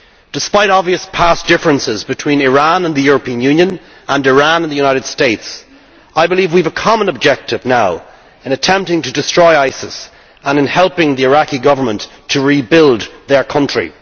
Despite obvious past differences between Iran and the European Union, and Iran and the United States, I believe we have a common objective now in attempting to destroy ISIS and in helping the Iraqi Government to rebuild their country.